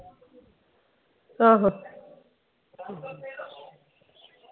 ਆਹੋ